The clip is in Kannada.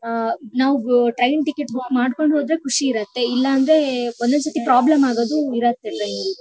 ಆಹ್ಹ್ ನಾವು ಗ ಟ್ರೈನ್ ಟಿಕೆಟ್ ಬುಕ್ ಮಾಡ್ಕೊಂಡಿರೋದೇ ಖುಷಿ ಇರುತ್ತೆ ಇಲ್ಲಾಂದ್ರೆ ಒಂದ್ ಒಂದೇ ಸತಿ ಪ್ರಾಬ್ಲಮ್ ಆಗೋದು ಇರತ್ತೆ ಟ್ರೈನ್ ಲಿ .